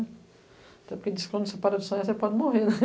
Até porque diz que quando você para de sonhar, você pode morrer, né?